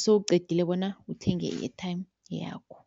sewuqedile bona uthenge i-airtime yakho.